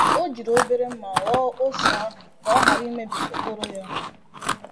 O jiri obere mma ghọọ oso ahụ ka o ghara imebi okporo ya.